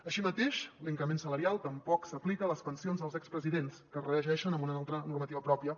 així mateix l’increment salarial tampoc s’aplica a les pensions dels expresidents que es regeixen per una altra normativa pròpia